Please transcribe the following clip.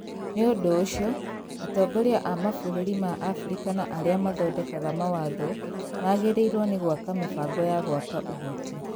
Nĩ ũndũ ũcio, atongoria a mabũrũri ma Abirika na arĩa mathondekaga mawatho magĩrĩirũo nĩ gwaka mĩbango ya gwaka ũhoti.